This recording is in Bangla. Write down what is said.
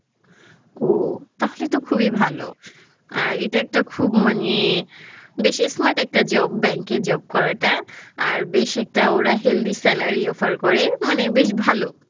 ওহ! তাহলে তো খুবই ভাল। আর এটা একটা খুব মানে বেশী smart একটা job bank এ job করা টা আর বেশ একটা ওরা healthy salary offer করে মানে বেশ ভাল